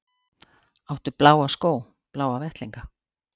Áttu bláa skó, bláa vettlinga?